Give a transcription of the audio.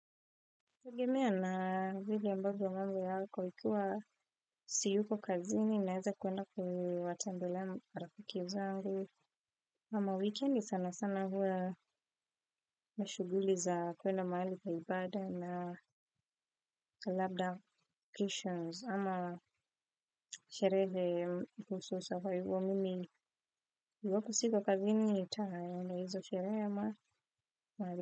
Inategemea na vile ambavyo yako ikuwa siyuko kazini naeza kuenda kuwatembelea marafiki zangu. Ama wikendi sana sana huwa mashughuli za kwenda mahali pa ibada na labda kishons ama sherehe kuhusu survival mimi iwapo siko kazini nitaenda hizo sherehe ama mahali.